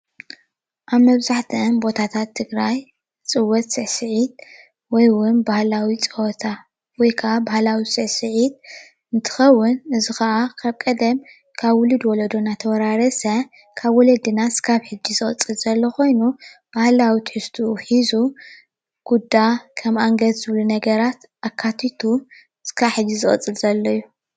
ኣብ መብዛሕትአን ቦታታት ትግራይ ዝፅወት ስዕስዒት ወይ እውን ባህላዊ ፀወታ ወይ ከኣ ባህላዊ ስዕስዒት እንትኸውን እዚ ከኣ ካብ ቀደም ካብ ውሉድ ወለዶ እናተወራረሰ ካብ ወለድና ስካብ ሕጂ ዝቕፅል ዘሎ ኮይኑ ባህላዊ ትሕዝኡ ሒዙ ኩዳ ከም ኣንገት ዝበሉ ነገራት ኣካቲቱ ስካብ ሕጂ ዝቕፅል ዘሎ እዩ።